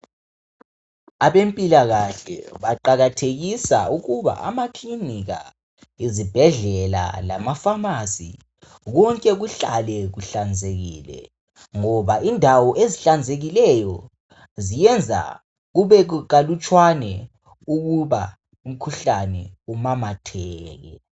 Abampilakahle baqakathekisa ukuba amakilinika, izibhedlela lamafamasi konke kuhlale kuhlanzekile ngoba indawo ezihlanzekileyo ziyenza kube kalutshwane ukuba umkhuhlane umemetheke.